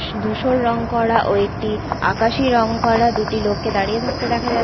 দুশোর রং করা ও একটি আকাশি রং করা দুটি লোককে দাঁড়িয়ে থাকতে দেখা যা--